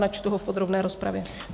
Načtu ho v podrobné rozpravě.